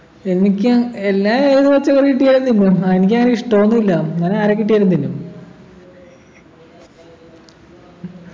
എനിക്കും എല്ലാ ഏത് പച്ചക്കറി കിട്ടിയാലും എനിക്കങ്ങനെ ഇഷ്ട്ടന്നും ഇല്ല അങ്ങനെ ആരെക്കിട്ടിയാലും തിന്നും